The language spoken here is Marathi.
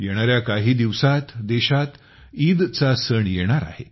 येणाऱ्या काही दिवसांत देशात ईद चा सण येणार आहे